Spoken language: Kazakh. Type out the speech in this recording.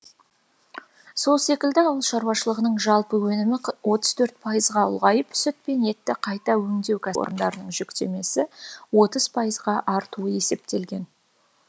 сол секілді ауыл шаруашылығының жалпы өнімі отыз төрт пайызға ұлғайып сүт пен етті қайта өңдеу кәсіпорындарының жүктемесі отыз пайызға артуы есептелген